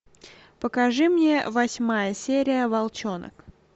покажи мне восьмая серия волчонок